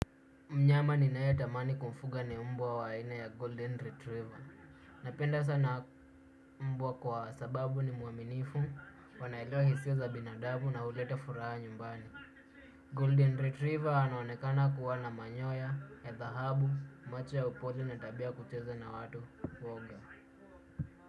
Mnyama ninaye tamani kumfuga ni mbwa wa aina ya Golden Retriever. Napenda sana mbwa kwa sababu ni mwaminifu, wanaelewa hisia za binadamu na huleta furaha nyumbani. Golden Retriever anaonekana kuwa na manyoya, ya dhahabu, macho ya upole na tabia ya kucheza na watu woga.